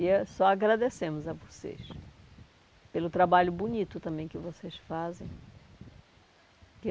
E é só agradecemos a vocês pelo trabalho bonito também que vocês fazem.